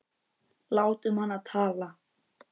Látum hana tala.